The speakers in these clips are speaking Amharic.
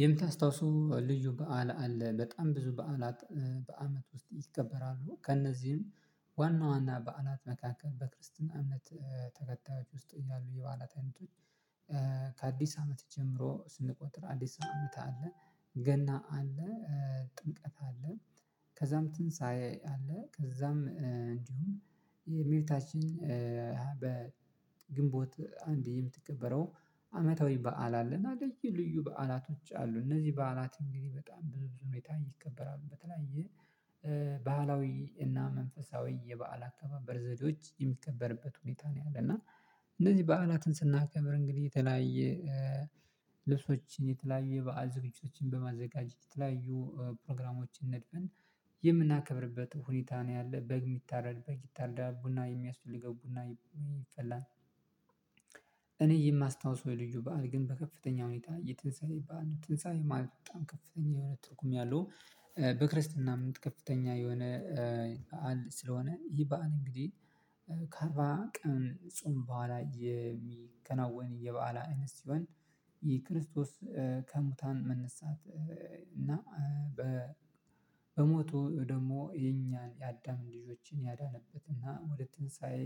የምታስታውሱ ልዩ በዓል አለ በጣም ብዙ በዓላት በአመት ውስጥ ይከበራሉ ከእነዚህም ዋና ዋና በአናት መካከል በክርስትና እምነት ተከታዮች ውስጥ እያሉ የባላት አይነቶች። ከአድስ አመት ጀምሮ ስንቆጥር አዲስ አመት አለ ገና አለ፤ ጥምቀት አለ፤ ከዛም ትንሳኤ አለ፤ ከዛም እንዲሁም የበታችን በግንቦት አንዴ የምትቀበረው፤ አመታዊ በዓል አለና ልዩ በ ልዩ ባዓላቶች አሉ። እነዚህ በዓላት እንግዲህ በጣም ብዙ ብዙ ሁኔታ ይከበራሉ። በተለያየ ባህላዊ እና መንፈሳዊ የበአል አተባበር ዘዴዎች የሚከበርበት ሁኔታ ነው። ያለና እንደዚህ በዓላትን ስናከብር እንግዲህ የተለያየ ልብሶችን፤ የተለያየ በዓል ዝግጅቶችን በማዘጋጀት የተለያዩ ፕሮግራሞችን ነድፍን የምናከብርበት ሁኔታ ነው ያለ። በግ የሚታረድ በግ ይታረድ ቡና የሚያስፈልገው ቡና የሚፈላን። እኔ የማስታውሰው የልዩ በዓል ግን በከፍተኛ ሁኔታ፤ የትንሳኤ በዓል፤ ትንሳኤ ማለት በጣም ከፍተኛ የሆነ ትርጉም ያለው። በክርስትና እምንት ከፍተኛ የሆነ በዓል ስለሆነ ይህ በዓል እንግዲህ ከአርባ ቀን ጽም በኋላ የምከናወን የበአላ ስሆን። የክርስቶስ፤ ከሙታን መነሳት እና በሞቶ ደግሞ፤ የኛን የአዳምን ልጆችን ያዳነበትና፤ ወደ ትንሳኤ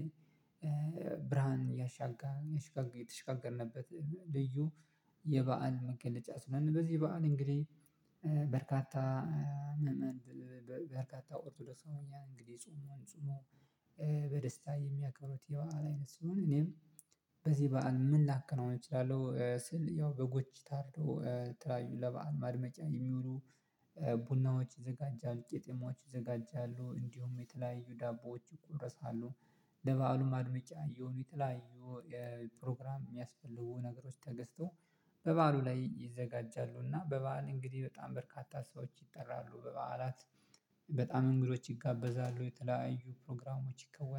ብርሃን ያሻጋ የተሽጋገርንበት ልዩ። ልብሶችን የተለያየ በዓል ዝግጅቶችን በማዘጋጀት፤ የተለያዩ ፕሮግራሞችን ነድፍን የምናከብርበት ሁኔታ ነው ያለ በግ የሚታረድ በግ ይታረዳል። ቡና የሚያስፈልገው ቡና ያፍላል እኔ የማስታውሰው የልጁ በዓል ግን በከፍተኛ ሁኔታ የትንሳኤ በዓል ትንሳኤ ማለት በጣም ከፍተኛ የሆነ ትርጉም ያለው። ቡናዎች ዘጋጃል፤ ቄጤማዎች ይዘጋጃሉ፤ እንዲሁም የተለያዩ ዳቦዎች ይቆረሳሉ፤ ለበአሉ ማድመጫ የሆኑ የተለያዩ የፕሮግራም የሚያስፈልጉ ነገሮች ተገዝተው በበዓሉ ላይ ይዘጋጃሉ፤ እና በበዓል እንግዲህ በጣም በርካታ ሰዎች ይጠራሉ በበዓላት በጣም እንግዶች ይጋበዛሉ፤ የተለያዩ ፕሮግራሞች ይከወናሉ፤